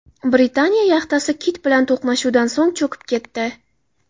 Britaniya yaxtasi kit bilan to‘qnashuvdan so‘ng cho‘kib ketdi.